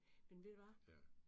Med ved du hvad?